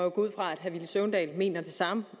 ud fra at herre villy søvndal mener det samme